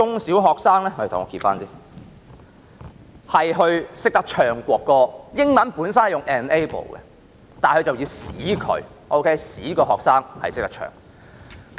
"使學生學習歌唱國歌"，英文本身是 "enable"， 但中文則是"使"，使學生學習歌唱國歌。